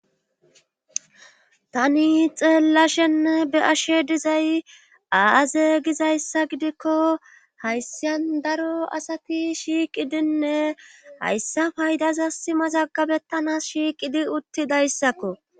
tani xeellashen be'ashe dizay aaze gizayssa gidikko hayssyan daro asati shiiqidinne hayssafaydaza simazagabettana shiiqidi uttidayssakko